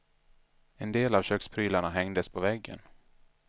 En del av köksprylarna hängdes på väggen.